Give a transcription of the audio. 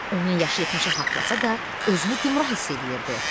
Onun yaşı 70-i haqlasa da, özünü gümrah hiss eləyirdi.